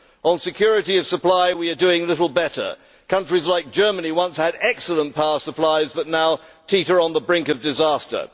On security of supply we are doing little better countries like Germany once had excellent power supplies but now teeter on the brink of disaster.